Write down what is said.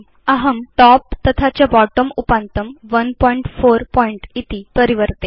अहं टॉप् तथा च बोट्टं उपान्तं 14pt इति परिवर्तिष्ये